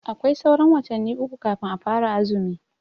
Aƙwai sauran watanni uƙu kafin a fara azumi.